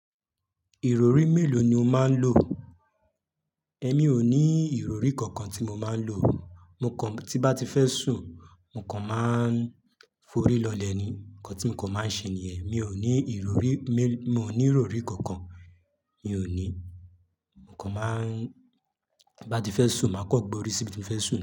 Ìrọrí mélòó ni o máa ń lò? Èmi ò ní ìrọrí kankan tí mo máa ń lò, mo kàn tí bá ti fẹ́ sùn, mo kàn máa ń forí lọlẹ̀ ni, nǹkan tí mo kàn máa ń ṣe nìyẹn. Mi ò ní ìrọrí, mo ní ìrọrí kankan, mi ò ní. Mo kàn máa ń, bá ti fẹ́ sùn, màá kọ́ gbọ́ orí síbi tí mo fẹ́ sùn.